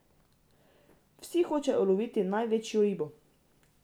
Vsi hočejo uloviti največjo ribo.